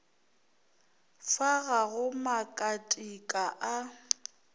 fa ga go makatika a